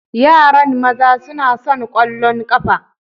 Yaran maza suna son ƙwallon ƙafa.